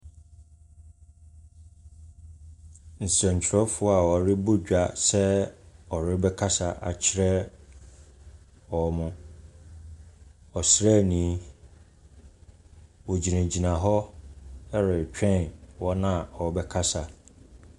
Nsɛntwerɛfoɔ a wɔrebɔ dwa sɛ wɔrebɛkasa akyerɛ wɔn. Ɔsraani, wɔgyinagyina hɔ retwɛn wɔn a wɔrebakasa.